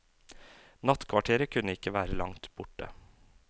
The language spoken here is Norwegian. Nattkvarteret kunne ikke være langt borte.